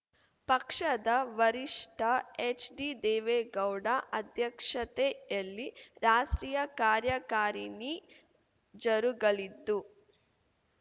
ಪಕ್ಷದ ವರಿಷ್ಠ ಎಚ್‌ಡಿದೇವೇಗೌಡ ಅಧ್ಯಕ್ಷತೆಯಲ್ಲಿ ರಾಷ್ಟ್ರೀಯ ಕಾರ್ಯಕಾರಿಣಿ ಜರುಗಲಿದ್ದು